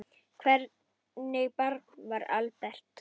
Hvernig barn var Albert?